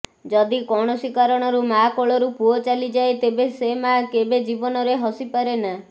ଯଦି କୌଣସି କାରଣରୁ ମାଆ କୋଳରୁ ପୁଅ ଚାଲିଯାଏ ତେବେ ସେ ମାଆ କେବେ ଜୀବନରେ ହସି ପାରେନା